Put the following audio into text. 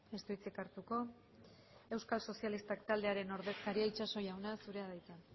ez du hitzik hartuko euskal sozialistak taldearen ordezkaria itxaso jauna zurea da hitza